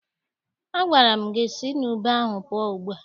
Agwara m gị si n' ube ahụ pụọ ugbu a!